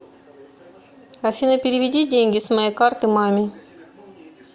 афина переведи деньги с моей карты маме